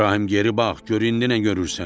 İbrahim geri bax, gör indi nə görürsən?